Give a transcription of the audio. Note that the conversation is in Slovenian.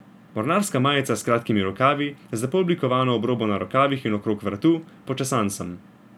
Mornarska majica s kratkimi rokavi, z lepo oblikovano obrobo na rokavih in okrog vratu, počesan sem.